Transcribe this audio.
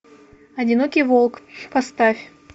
одинокий волк поставь